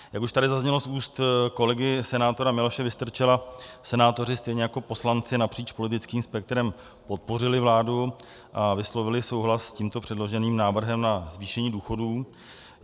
Jak už tady zaznělo z úst kolegy senátora Miloše Vystrčila, senátoři stejně jako poslanci napříč politickým spektrem podpořili vládu a vyslovili souhlas s tímto předloženým návrhem na zvýšení důchodů.